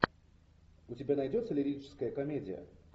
у тебя найдется лирическая комедия